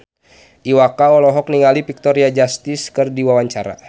Iwa K olohok ningali Victoria Justice keur diwawancara